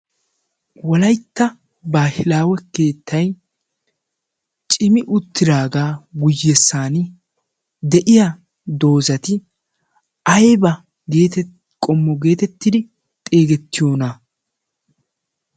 Wolaytta baahilaawe keettay cimi uttidaagaa guyyessan de'iya doozati ayba qommo geetettidi xeegettiyoona?